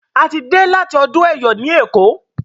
a tí dey láti ọdún eyọ ní eko